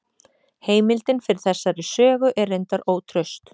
Heimildin fyrir þessari sögu er reyndar ótraust.